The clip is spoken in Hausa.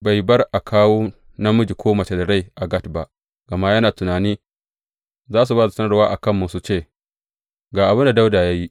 Bai bar a kawo namiji ko mace da rai a Gat ba, gama yana tunani, Za su ba da sanarwa a kanmu su ce, Ga abin da Dawuda ya yi.’